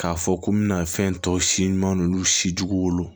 K'a fɔ ko n bɛna fɛn tɔ si ɲuman si jugu wolo